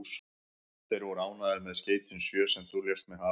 Þeir voru ánægðir með skeytin sjö, sem þú lést mig hafa.